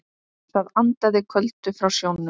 Það andaði köldu frá sjónum.